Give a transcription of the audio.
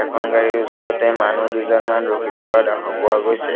এখন গাড়ীৰ ওচৰতে মানুহ দুজনমান ৰখি থকা দেখা পোৱা গৈছে।